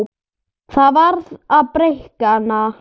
Það varð að breikka hana.